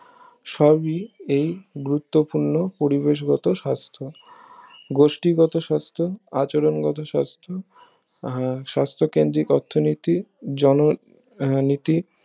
সবি এই গুরুত্বপূর্ণ পরিবেশ গত সাস্থ গোষ্ঠীগত সাস্থ আচরণ গত সাস্থ আহ সাস্থ কেন্দ্রিক অর্থনীতি জন নীতি